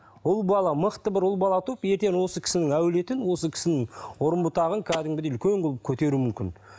ұл бала мықты бір ұл бала туылып ертең осы кісінің әулетін осы кісінің үрім бұтағын кәдімгідей үлкен қылып көтеруі мүмкін